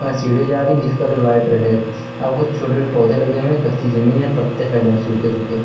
और सीढ़ी जा रही है जिसका व्हाइट रेड है। यहाँ पे कुछ छोटे छोटे पौधे लगे हुए हैं। कच्ची जमीन है और पत्ते फैले हुए हैं सूखे सूखे।